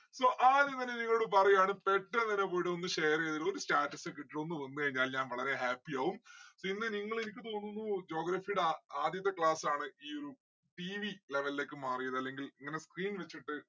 so ആദ്യം തന്നെ നിങ്ങളോട് പറയാണ് പെട്ടെന്നെന്നെ പോയിട്ട് ഒന്ന് share എയ്ത് ഒരു status ഒക്കെ ഇട്ടിട്ട് ഒന്ന് വന്നു കഴിഞ്ഞാല് ഞാൻ വളരെ happy ആവും. പിന്നെ നിങ്ങൾ എനിക്ക് തോന്നുന്നു geography ടെ ആ ആദ്യത്തെ class ആണ് ഈയൊരു TVlevel ലേക്ക് മാറിയത് അല്ലെങ്കിൽ ഇങ്ങനെ screen വച്ചിട്ട്